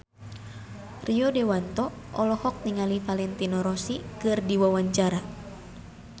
Rio Dewanto olohok ningali Valentino Rossi keur diwawancara